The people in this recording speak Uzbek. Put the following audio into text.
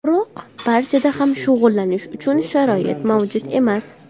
Biroq barchada ham shug‘ullanish uchun sharoit mavjud emas.